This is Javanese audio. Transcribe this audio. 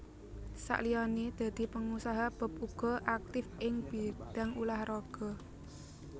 Saliyané dadi pengusaha Bob uga aktif ing bidang ulah raga